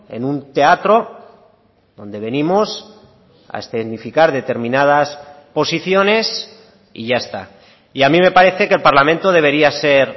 en un teatro donde venimos a escenificar determinadas posiciones y ya está y a mí me parece que el parlamento debería ser